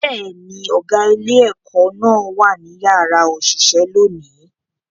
Bẹ́ẹ̀ ni, ọ̀gá ilé-ẹ̀kọ́ náà wà ní yàrá òṣìṣẹ́ lónìí